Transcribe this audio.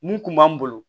Mun kun b'an bolo